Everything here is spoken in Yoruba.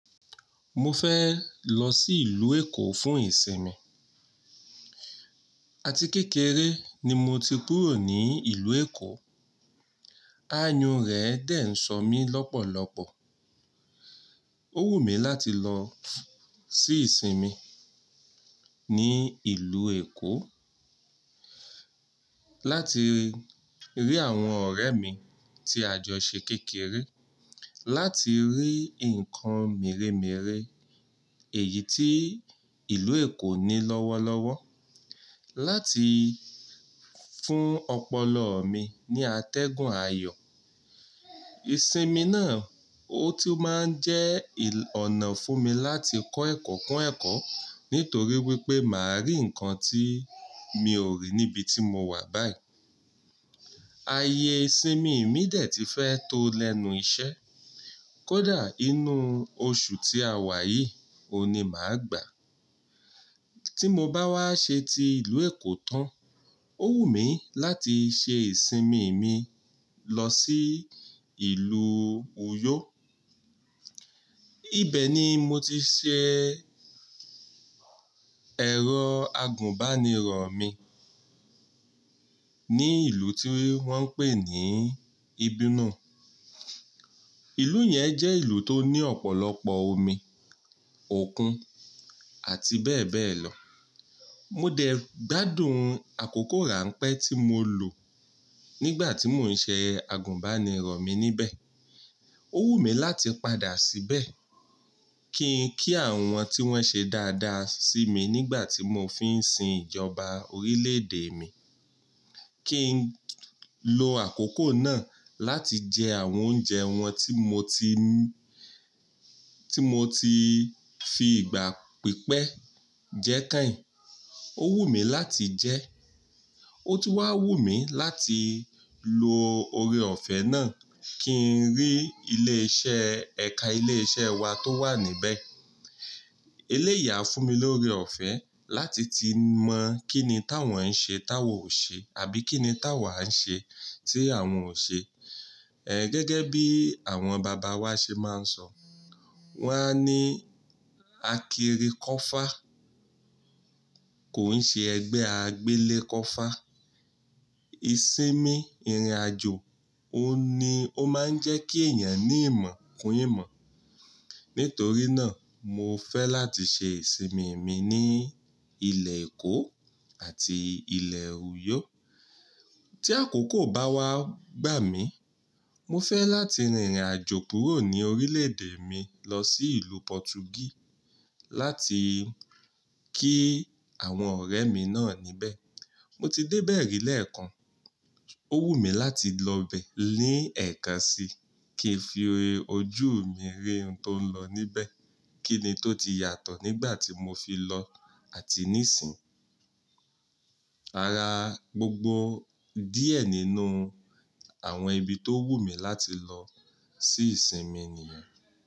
Mo fẹ́ lọ sí ìlú Èkó fún ìsinmi. Àti kékeré ni mo ti kúrò ní ìlú Èkó. Àyùn rẹ dẹ̀ ń sọ mí lọ́pọ̀lọpọ̀. Ó wù mí láti lọ sí ìsinmi ní ìlú Èkó láti rí àwọn ọ̀rẹ́ mi tí àjọ ṣe kékeré, láti rí ǹkan mere mere èyí tí ìlú Èkó ní lọ́wọ́lọ́wọ́, láti fún ọpọlọ mi ní àtẹ̀gùn ayọ̀. Ìsinmi náà, ó tún máa ń jẹ́ ọ̀nà fún mi láti kọ́ ẹ̀kọ́, kó ẹ̀kọ́ nítorí wípé màá rí ǹkan tí mi ò rí níbi tí mo wà báyìí. Ayé ìsinmi mi dẹ̀ ti fẹ́ tó lẹ́nu iṣẹ́. Kódà inú oṣù tí a wà yìí ò ní máa gbà. Tí mo bá wá ṣe ti ìlú Èkó tán, ó wù mí láti ṣe ìsinmi mi lọ sí ìlú Uyo. Ibẹ̀ ni mo ti ṣe ẹ̀rọ agùnbánirọ̀ mi ní ìlú tí wọ́n ń pè ní Ibino. Ìlú yẹn jẹ́ ìlú tó ní ọ̀pọ̀lọpọ̀ omi, òkun àti bẹ́ẹ̀ bẹ́ẹ̀ lọ. Mo dẹ̀ gbádùn àkókò ránpẹ́ tí mo lò nígbà tí mò ń ṣe agùnbánirọ̀ mi níbẹ̀. Ó wù mí láti padà síbẹ̀ kí n kí àwọn tí wọ́n ṣe dáadáa sí mi nígbà tí mò fi ń sin ìjọba orílẹ̀-èdè mi, kí n lo àkókò náà láti jẹ àwọn oúnjẹ wọn tí mo ti, tí mo ti fi ìgbà pípẹ́ jẹ́ keyín. Ó wù mí láti jẹ́. Ó tún wà wù mí láti lo ore ọ̀fẹ́ náà kí n rí ilé iṣẹ́, ẹ̀ka ilé iṣẹ́ wa tó wà níbẹ̀. Éléyì à fún mi lórí ọ̀fẹ́ láti ti mọ̀ kín ni táwọn ń ṣe táwà ò ṣe àbí kí ni táwà ń ṣe tí àwọn ò ṣe. Ẹ̀ gẹ́gẹ́ bí àwọn bàbá wa ṣe máa ń sọ, wọ́n á ní, "Akiri kọ́fá kò ń ṣe ẹgbẹ́ agbélé kọ́fá." Ìsinmi ìrìnàjò, óun ni, ó máa ń jẹ́ kí èèyàn ní ìmọ̀ kún ìmọ̀. Nítorí náà, mo fẹ́ láti ṣe ìsinmi mi ní ilẹ̀ Èkó àti ilẹ̀ Uyo. Tí àkókò bá wá gbà mí, mo fẹ́ láti rìnrìnàjò kúrò ní orílẹ̀ èdè mi lọ sí ìlú Pọtugí láti kí àwọn ọ̀rẹ́ mi náà níbẹ̀. Mo ti dé bẹ̀ẹ̀ ri lẹ́ẹ̀kan, ó wù mí láti lọ bẹ̀ ní ẹ̀ẹ̀kan síi kí n fi ojú mi rí ohun tó ń lọ níbẹ̀, kíni tó ti yàtọ̀ nígbà tí mo fi lọ àti níìsín. Ara gbogbo díẹ̀ nínú àwọn ibi tó wù mí láti lọ sí ìsinmi nìyẹn.